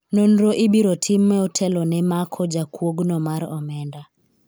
nonro ibiro tim motelo ne mako jakuogno mar omenda